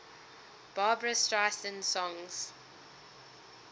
barbra streisand songs